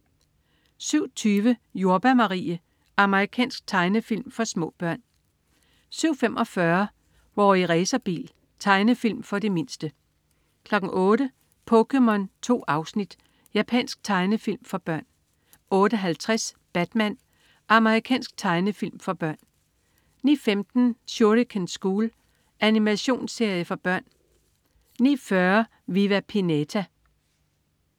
07.20 Jordbær Marie. Amerikansk tegnefilm for små børn 07.45 Rorri Racerbil. Tegnefilm for de mindste 08.00 POKéMON. 2 afsnit. Japansk tegnefilm for børn 08.50 Batman. Amerikansk tegnefilmserie for børn 09.15 Shuriken School. Animationsserie for børn 09.40 Viva Pinata